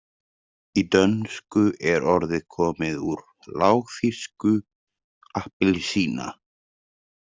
Í dönsku er orðið komið úr lágþýsku appelsina.